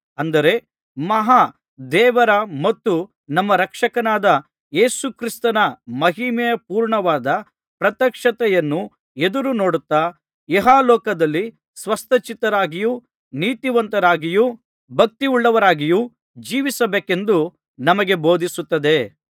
ಅಂದರೆ ಮಹಾ ದೇವರ ಮತ್ತು ನಮ್ಮ ರಕ್ಷಕನಾದ ಯೇಸುಕ್ರಿಸ್ತನ ಮಹಿಮೆಪೂರ್ಣವಾದ ಪ್ರತ್ಯಕ್ಷತೆಯನ್ನು ಎದುರುನೋಡುತ್ತಾ ಇಹಲೋಕದಲ್ಲಿ ಸ್ವಸ್ಥಚಿತ್ತರಾಗಿಯೂ ನೀತಿವಂತರಾಗಿಯೂ ಭಕ್ತಿಯುಳ್ಳವರಾಗಿಯೂ ಜೀವಿಸಬೇಕೆಂದು ನಮಗೆ ಬೋಧಿಸುತ್ತದೆ